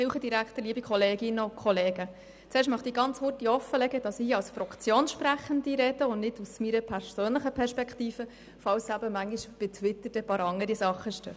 Zuerst möchte ich offenlegen, dass ich hier für meine Fraktion spreche und nicht aus meiner persönlichen Perspektive, falls dann manchmal andere Dinge auf «Twitter» stehen.